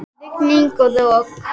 Rigning og rok.